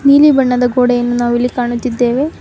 ನೀಲಿ ಬಣ್ಣದ ಗೋಡೆಯನ್ನು ನಾವಿಲ್ಲಿ ಕಾಣುತ್ತಿದ್ದೇವೆ.